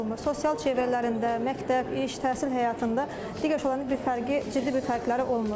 Sosial çevrələrində, məktəb, iş, təhsil həyatında digər uşaqlardan bir fərqi, ciddi bir fərqləri olmur.